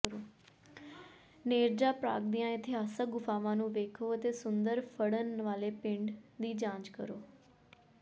Nerja ਪ੍ਰਾਗ ਦੀਆਂ ਇਤਿਹਾਸਕ ਗੁਫਾਵਾਂ ਨੂੰ ਵੇਖੋ ਅਤੇ ਸੁੰਦਰ ਫੜਨ ਵਾਲੇ ਪਿੰਡ ਦੀ ਜਾਂਚ ਕਰੋ